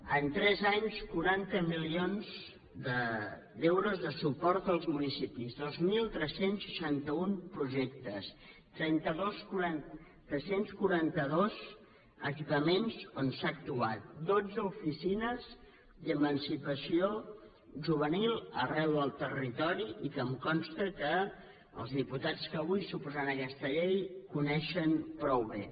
en tres anys quaranta milions d’euros de suport als municipis dos mil tres cents i seixanta un projectes tres cents i quaranta dos equipaments on s’ha actuat dotze oficines d’emancipació juvenil arreu del territori i que em consta que els diputats que avui s’oposaran a aquesta llei coneixen prou bé